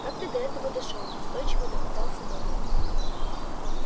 как ты до этого дошёл настойчиво допытывался донован